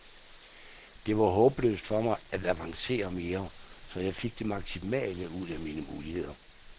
Det var håbløst for mig at avancere mere, så jeg fik det maksimale ud af mine muligheder.